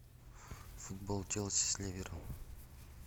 футбол челси с ливером